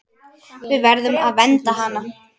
Við verðum að vernda hana.